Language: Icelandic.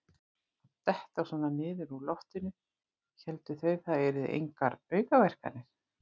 Að detta svona niður úr loftinu: héldu þeir það yrðu engar aukaverkanir?